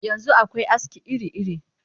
Yanzu akwai aski iri-iri